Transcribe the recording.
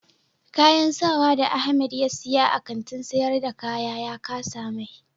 Kayan sawa da Ahamed ya siya a Kantin sayar da kaya ya kasa mai.